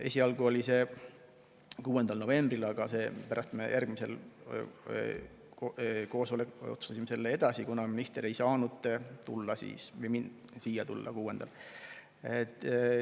Esialgu oli 6. novembri kohta, aga järgmisel koosolekul me otsustasime selle edasi lükata, kuna minister ei saanud siia tulla 6. novembril.